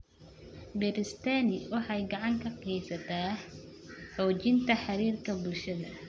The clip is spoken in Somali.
Beeristani waxay gacan ka geysataa xoojinta xiriirka bulshada.